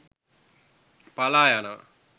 පලා යනවා.